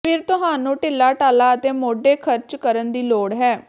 ਫਿਰ ਤੁਹਾਨੂੰ ਢਿੱਲਾਢਾਲਾ ਅਤੇ ਮੋਢੇ ਖਰਚ ਕਰਨ ਦੀ ਲੋੜ ਹੈ